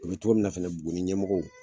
O be togo mina fɛnɛ buguni ɲɛmɔgɔw